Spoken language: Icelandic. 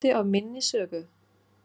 Hann er hluti af minni sögu.